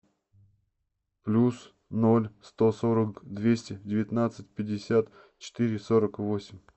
плюс ноль сто сорок двести девятнадцать пятьдесят четыре сорок восемь